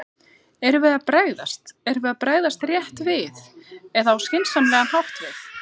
Erum við að bregðast, erum við að bregðast rétt við eða á skynsamlegan hátt við?